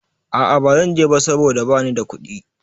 A a bazan je ba saboda bani da kuɗi.